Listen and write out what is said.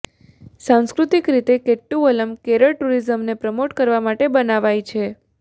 સાંસ્કૃતિક રીતે કેટ્ટુવલ્લમ કેરળ ટુરિઝમને પ્રમોટ કરવા માટે બનાવાઈ છે